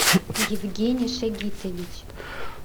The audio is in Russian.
евгений шагитович